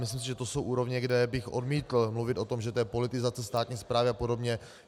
Myslím si, že to jsou úrovně, kde bych odmítl mluvit o tom, že to je politizace státní správy a podobně.